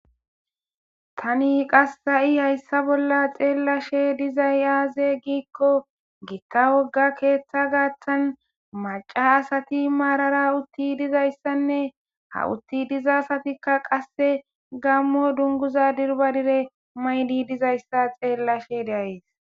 Tani qassa'i hayssa bolla xeellashe dizay aaze giikko giitta wogga keeththa gaaththan maca asati maarara utti dizayssanne ha utti diza asatikka qasse gammo dunguza dirbadire maydi dizayssa xeellashe deays.